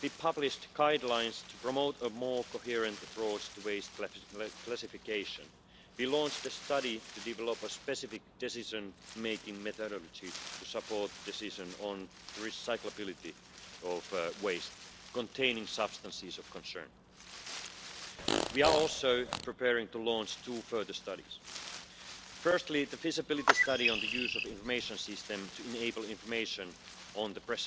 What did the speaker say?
We think about plastic bottles, bags and straws floating around, but I also want to remind colleagues of the damage done by ghost gear abandoned fishing nets trapping, strangling and drowning untold numbers of marine mammals and birds, as I highlighted by distributing Netty the dolphin to many, many Members here, and I hope he might have reached the